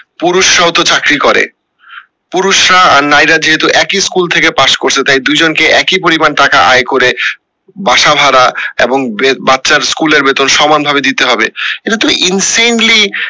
পুরুষরা ও তো চাকরি করে পুরুষরা নারীরা যেহেতু একই স্কুল থেকে পাস্ করসে তাই দুইজন কে একই পরিমান টাকা আয় করে বাসা ভাড়া এবং বে বাচ্চার স্কুলের বেতন সমান ভাবে দিতে হবে এটা তো in samely